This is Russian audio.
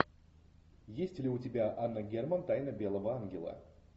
есть ли у тебя анна герман тайна белого ангела